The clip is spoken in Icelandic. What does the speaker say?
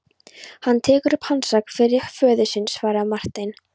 Hann tekur upp hanskann fyrir föður sinn, svaraði Marteinn.